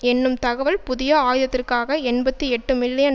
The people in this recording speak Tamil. என்னும் தகவல் புதிய ஆயுதத்திற்காக எண்பத்தி எட்டு மில்லியன்